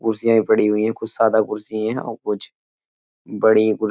कुर्सियां भी पड़ी हुई हैं। कुछ सादा कुर्सियां हैं और कुछ बड़ी कुर्सी --